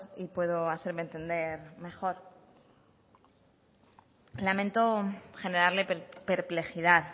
y puedo hacerme entender mejor lamento generarle perplejidad